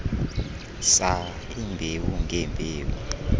saa iimbewu ngeembewu